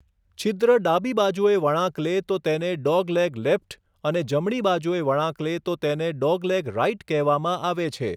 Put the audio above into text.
છિદ્ર ડાબી બાજુએ વળાંક લે તો તેને 'ડોગલેગ લેફ્ટ' અને જમણી બાજુએ વળાંક લે તો તેને 'ડોગલેગ રાઈટ' કહેવામાં આવે છે.